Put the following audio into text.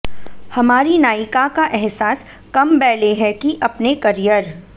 हमारी नायिका का एहसास कम बैले है कि अपने कैरियर